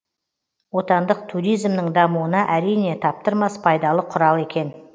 отандық туризмнің дамуына әрине таптырмас пайдалы құрал екен